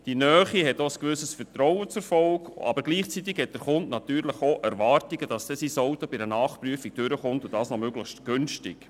Diese Nähe hat ein Vertrauen zur Folge, aber gleichzeitig hat der Kunde natürlich die Erwartung, dass sein Fahrzeug eine Nachprüfung besteht, und das auch noch möglichst günstig.